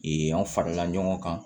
an farala ɲɔgɔn kan